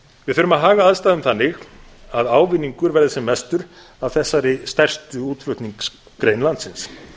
við þurfum að haga aðstæðum þannig að ávinningur verður sem mestur af þessari stærstu útflutningsgrein landsins